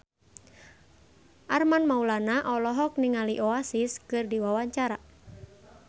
Armand Maulana olohok ningali Oasis keur diwawancara